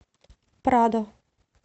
прадо